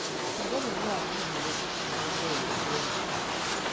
я люблю арбузом закусывать любое бухло